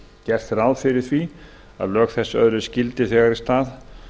gert er ráð fyrir að lög þessi öðlist gildi þegar í stað